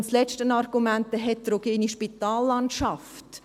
Das letzte Argument ist die heterogene Spitallandschaft.